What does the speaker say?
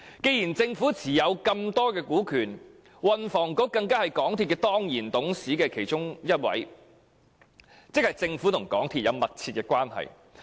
鑒於政府持有這麼多股權，而運輸及房屋局局長更是港鐵公司其中一位當然董事，政府和港鐵公司關係密切。